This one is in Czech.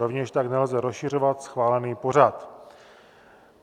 Rovněž tak nelze rozšiřovat schválený pořad.